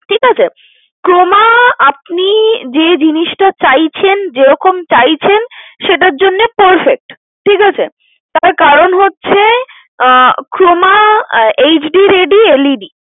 ঠিকাছে Croma আপনি যে জিনিসটা চাইছেন যেরকম চাইছেন সেটার জন্যে Perfect । ঠিকাছে তার কারন হচ্ছে আহ Croma HD ready LED